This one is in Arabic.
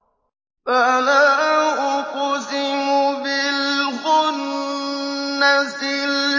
فَلَا أُقْسِمُ بِالْخُنَّسِ